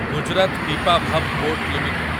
Gujarat Pipavav port limited